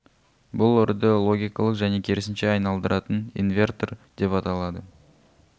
бұл үрді логикалық және керісінше айналдыратын инвертор деп аталады